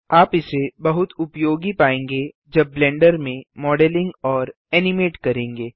आप इसे बहुत उपयोगी पायेंगे जब ब्लेंडर में मॉडलिंग और एनिमेट करेंगे